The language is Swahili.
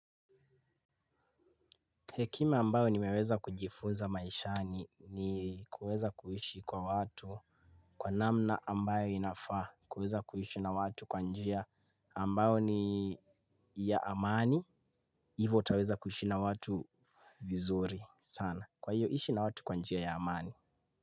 Hekima ambayo nimeweza kujifunza maishani ni kuweza kuishi kwa watu kwa namna ambayo inafaa, kuweza kuishi na watu kwa njia ambayo ni ya amani, hivo utaweza kuishi na watu vizuri sana. Kwa hiyo, ishi na watu kwa njia ya amani.